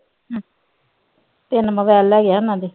ਤਿੰਨ ਮੋਬਾਇਲ ਲੈ ਗਿਆ ਉਹਨਾਂ ਦੇ।